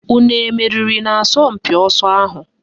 Unu emeriri n'asọmpị ọsọ ahụ?